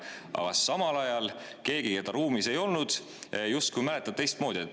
Aga samal ajal keegi, keda ruumis ei olnud, justkui mäletab teistmoodi.